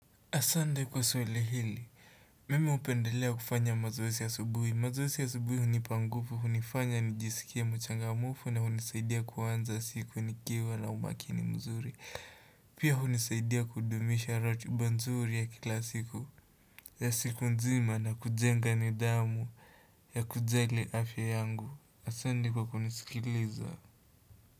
Asante kwa swali hili, mimi hupendelea kufanya mazoezi ya asubuhi, mazoezi ya asubuhi hunipa nguvu, hunifanya nijisikie mchangamfu, na hunisaidia kuanza siku nikiwa na umakini mzuri, pia hunisaidia kudumisha ratiba nzuri ya kila siku, ya siku nzima na kujenga nidhamu ya kujali afya yangu, asanti kwa kunisikiliza.